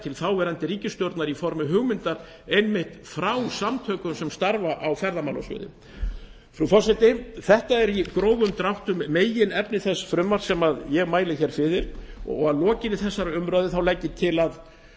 til þáverandi ríkisstjórnar í formi hugmyndar einmitt frá samtökum sem starfa á ferðamálasviði frú forseti þetta er í grófum dráttum meginefni þess frumvarps sem ég mæli hér fyrir að lokinni þessari umræðu legg ég til að